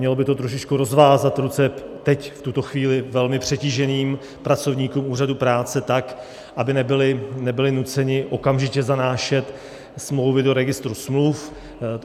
Mělo by to trošičku rozvázat ruce teď v tuto chvíli velmi přetíženým pracovníkům úřadů práce tak, aby nebyli nuceni okamžitě zanášet smlouvy do registru smluv.